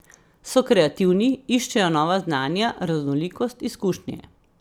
So kreativni, iščejo nova znanja, raznolikost, izkušnje ...